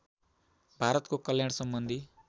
भारतको कल्याण सम्बन्धी